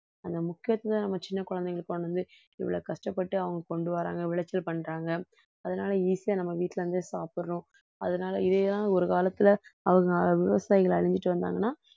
அந்த முக்கியத்துவத்தை நம்ம சின்னக் குழந்தைங்களுக்கு கொண்டு வந்து இவ்வளவு கஷ்டப்பட்டு அவங்க கொண்டு வர்றாங்க விளைச்சல் பண்றாங்க, அதனால easy ஆ நம்ம வீட்டில இருந்தே சாப்பிடுறோம் அதனால இதேதான் ஒரு காலத்துல அவங்க விவசாயிகள் அழிஞ்சுட்டு வந்தாங்கன்னா